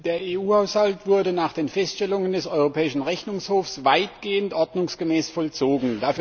Der EU Haushalt wurde nach den Feststellungen des Europäischen Rechnungshofs weitgehend ordnungsgemäß vollzogen.